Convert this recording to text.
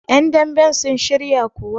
yandamben sun shiryakuwa?